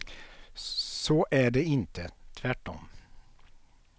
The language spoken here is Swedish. Så är det inte, tvärtom.